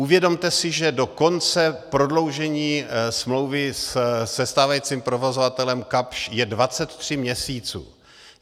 Uvědomte si, že do konce prodloužení smlouvy se stávajícím provozovatelem Kapsch je 23 měsíců.